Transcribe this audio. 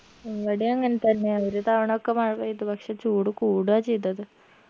ഇവിടേം അങ്ങൻതന്നെ ഒരു തവണൊക്കെ മഴ പെയ്തു പക്ഷെ ചൂട് കൂടുഅ ചെയ്തത്